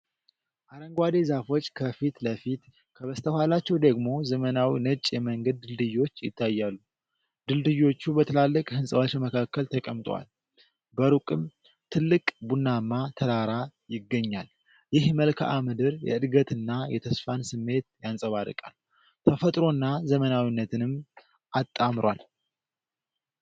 አረንጓዴ ዛፎች ከፊት ለፊት፣ ከበስተኋላቸው ደግሞ ዘመናዊ ነጭ የመንገድ ድልድዮች ይታያሉ። ድልድዮቹ በትላልቅ ሕንፃዎች መካከል ተቀምጠዋል፤ በሩቅም ትልቅ ቡናማ ተራራ ይገኛል። ይህ መልክዓ ምድር የእድገትንና የተስፋን ስሜት ያንጸባርቃል፤ ተፈጥሮና ዘመናዊነትንም አጣምሯል።